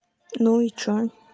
ну и что